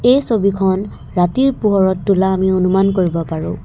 এই ছবিখন ৰাতিৰ পোহৰত তোলা আমি অনুমান কৰিব পাৰো।